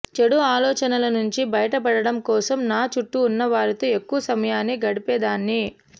చెడు ఆలోచనల నుంచి బయటపడడం కోసం నా చుట్టూ ఉన్నవారితో ఎక్కువ సమయాన్ని గడిపేదాన్ని